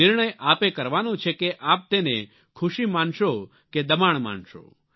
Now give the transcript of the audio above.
નિર્ણય આપે કરવાનો છે કે આપ તેને ખુશી માનશો કે દબાણ માનશો